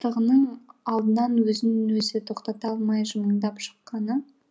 бастығының алдынан өзін өзі тоқтата алмай жымыңдап шыққаны